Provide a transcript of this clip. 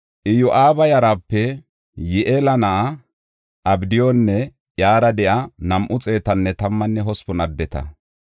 Iyo7aaba yarape Yi7eela na7a Abdiyunne iyara de7iya nam7u xeetanne tammanne hospun addeta.